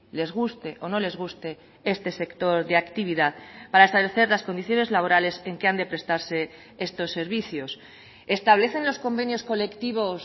les guste o no les guste este sector de actividad para establecer las condiciones laborales en que han de prestarse estos servicios establecen los convenios colectivos